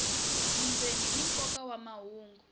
vundzeni ni nkoka wa mahungu